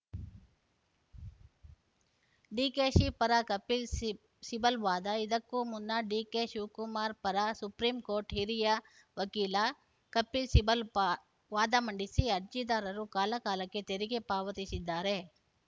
ಡಿಕೆಶಿ ಪರ ಕಪಿಲ್‌ ಸಿ ಸಿಬಲ್‌ ವಾದ ಇದಕ್ಕೂ ಮುನ್ನ ಡಿಕೆಶಿವಕುಮಾರ್‌ ಪರ ಸುಪ್ರಿಂ ಕೋರ್ಟ್‌ ಹಿರಿಯ ವಕೀಲ ಕಪಿಲ್‌ ಸಿಬಲ್‌ ವಾದ ಮಂಡಿಸಿ ಅರ್ಜಿದಾರರು ಕಾಲಕಾಲಕ್ಕೆ ತೆರಿಗೆ ಪಾವತಿಸಿದ್ದಾರೆ